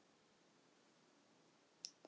Hann vissi jú allt.